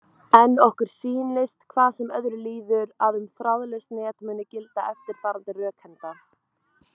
En okkur sýnist, hvað sem öðru líður, að um þráðlaus net muni gilda eftirfarandi rökhenda: